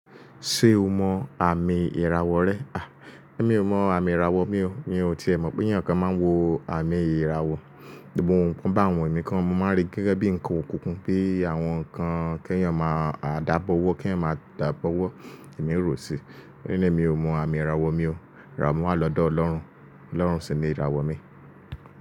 Ṣé o mọ àmì ìràwọ̀ rẹ? À, èmi ò mọ àmì ìràwọ̀ mi o. Mi ò ti mọ̀ pé eyàn kan máa ń wo àmì ìràwọ̀. Òun bá àwọn ẹ̀mí kan, mo máa rí gẹ́gẹ́ bí nǹkan òkùnkùn pé àwọn nǹkan kí èèyàn máa dàbọ́wọ́, kí ẹ̀ má dàbọ́wọ́, èmi ò rò ó sí. Níní mi ò mọ àmì ìràwọ̀ mi o. Ràrá, àmì mí wà lọ́dọ̀ Ọlọ́run. Ọlọ́run sì ni ìràwọ̀ mi.